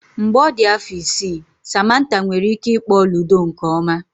Mgbe ọ dị afọ isii, Samantha nwere ike ịkpọ ludo nke ọma.